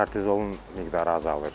Kortizolun miqdarı azalır.